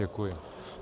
Děkuji.